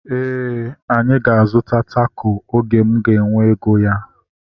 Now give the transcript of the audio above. Éè, anyị ga-azuta tako oge m ga-enwe ego ya